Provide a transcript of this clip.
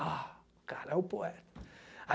Ah, o cara é o poeta.